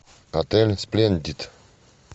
отель сплендид